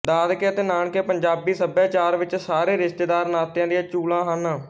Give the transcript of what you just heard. ਦਾਦਕੇ ਅਤੇ ਨਾਨਕੇ ਪੰਜਾਬੀ ਸੱਭਿਆਚਾਰ ਵਿੱਚ ਸਾਰੇ ਰਿਸ਼ਤੇ ਨਾਤਿਆਂ ਦੀਆਂ ਚੂਲਾਂ ਹਨ